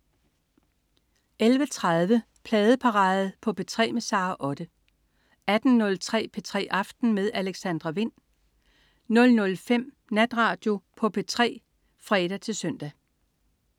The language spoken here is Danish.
11.30 Pladeparade på P3 med Sara Otte 18.03 P3 aften med Alexandra Wind 00.05 Natradio på P3 (fre-søn)